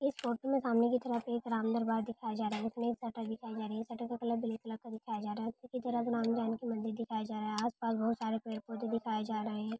इस फोटो में सामने की तरफ एक राम दरबार दिखाया जा रहा है उसमें एक शटर दिखाई जा रही है शटर का कलर ब्लैक कलर का दिखाया जा रहा है उसी की तरफ राम जानकी मंदिर दिखाया जा रहा है आस पास बहुत सारे पेड़ पौधे दिखाए जा रहे हैं।